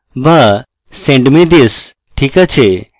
বা send me this ঠিক আছে